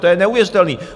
To je neuvěřitelné!